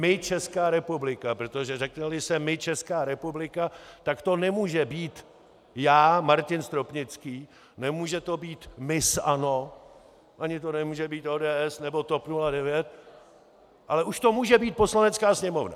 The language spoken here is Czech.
My, Česká republika, protože řekne-li se my, Česká republika, tak to nemůže být já, Martin Stropnický, nemůže to být miss ANO ani to nemůže být ODS nebo TOP 09, ale už to může být Poslanecká sněmovna.